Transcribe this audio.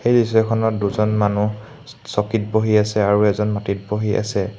এই দৃশ্যখনত দুজন মানুহ চকীত বহি আছে আৰু এজন মাটিত বহি আছে।